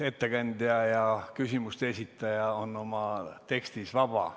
Ettekandja ja küsimuste esitaja on oma teksti esitades vaba.